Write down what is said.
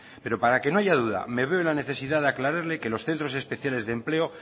pero para que no haya duda me veo en la necesidad de aclararle que los centros especiales de empleo